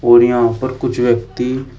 और यहां ऊपर कुछ व्यक्ति --